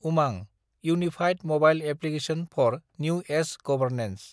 उमां – unified mobile application for new age governance